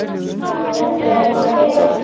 Er þér ekki heitt?